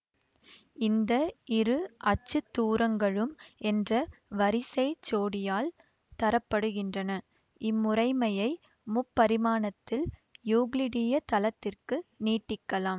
இந்த இரு அச்சுதூரங்களும் என்ற வரிசைச் சோடியால் தரப்படுகின்றன இம்முறைமையை முப்பரிமாணத்தில் யூக்ளிடிய தளத்திற்கு நீட்டிக்கலாம்